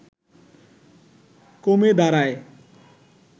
কমে দাঁড়ায়